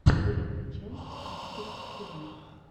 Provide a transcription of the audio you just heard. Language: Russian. первая часть аспид тв